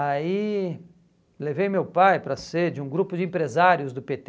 Aí levei meu pai para ser de um grupo de empresários do pê tê.